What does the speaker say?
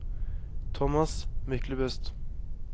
Tomas Myklebust